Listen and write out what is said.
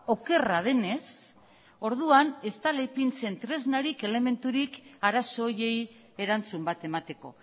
okerra denez orduan ez dela ipintzen tresnarik elementurik arazo horiei erantzun bat emateko